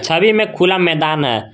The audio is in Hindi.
छवि में खुला मैदान है।